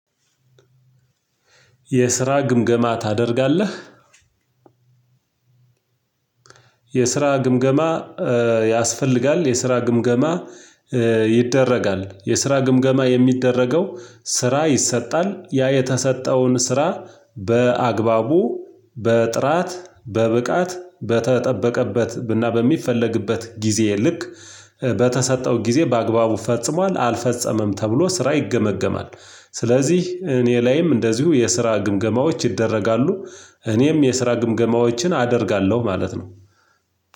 የስራ ግምገማ ታደርጋለህ? የስራ ግምገማ ያስፈልጋል የስራ ግምገማ ይደረጋል የስራ ግምገማ የሚደረገው ስራ ይሰጣል፤ ያ የተሰጠውን ስራ በአግባቡ፣ በጥራት፣ በብቃት በተጠበቀበት እና በሚፈለግበት ጊዜ ልክ በተሰጠው ጊዜ በአግባቡ ፈጽሟል አልፈጸመም ተብሎ ስራ ይገመገማል። ስለዚህ እኔ ላይም እንደዚሁ የስራ ግምገማዎች ይደረጋሉ፤ እኔም የስራ ግምገማዎችን አደርጋለሁ ማለት ነው።